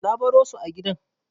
Na baro su a gidan.